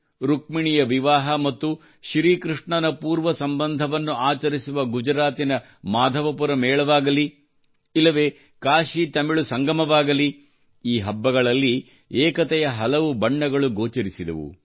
ರುಕ್ಮಿಣಿಯ ವಿವಾಹ ಮತ್ತು ಶ್ರೀಕೃಷ್ಣನ ಪೂರ್ವ ಸಂಬಂಧವನ್ನು ಆಚರಿಸುವ ಗುಜರಾತ್ ನ ಮಾಧವಪುರ ಮೇಳವಾಗಲಿ ಇಲ್ಲವೆ ಕಾಶಿತಮಿಳು ಸಂಗಮವಾಗಲಿ ಈ ಹಬ್ಬಗಳಲ್ಲಿ ಏಕತೆಯ ಹಲವು ಬಣ್ಣಗಳು ಗೋಚರಿಸಿದವು